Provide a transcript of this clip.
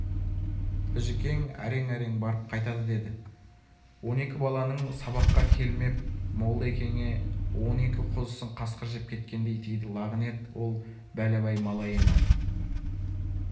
біжікен әрең-әрең барып айтады деді он екі баланың сабаққа келмеп молда-екеңе он екі қозысын қасқыр жеп кеткендей тиді лағынет ол бәләбай малайына